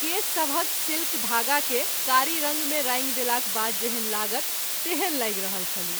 केश सभहक सिल्क धागा के कारी रंग मे रांगि देलाक बाद जेहन लागत तेहन लागि रहल छलीह।